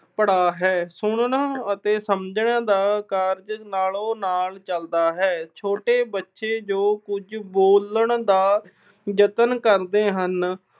ਪੜਾਅ ਹੈ। ਸੁਣਨ ਅਤੇ ਸਮਝਣ ਦਾ ਕਾਰਜ ਨਾਲੋ-ਨਾਲ ਚਲਦਾ ਹੈ। ਛੋਟੇ ਬੱਚੇ ਜੋ ਕੁਝ ਬੋਲਣ ਦਾ ਯਤਨ ਕਰਦੇ ਹਨ।